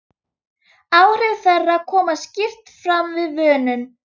Áhrif þeirra koma skýrt fram við vönun.